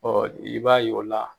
Ɔ i b'a ye o la